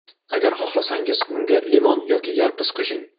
Agar xohlasangiz, unga limon yoki yalpiz qo‘shing.